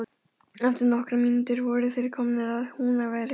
Eftir nokkrar mínútur voru þeir komnir að Húnaveri.